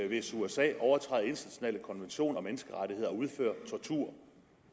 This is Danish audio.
hvis usa overtræder internationale konventioner og menneskerettigheder og udfører tortur